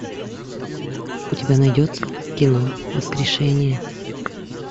у тебя найдется кино воскрешение